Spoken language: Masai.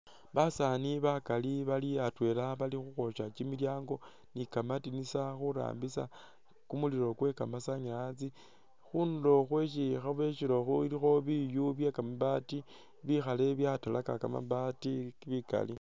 Basaani bakali bali atwela bali khukhwosya kimilyaango ni kamadinisa khurambisa kumulilo kwe kamasanyalazi, khunulo khwesi khabosyela okhu khulikho biyu bye kamabaati bikhaale byatalaka kamabaati bikali.